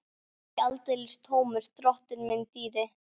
Og ekki aldeilis tómur, drottinn minn dýri!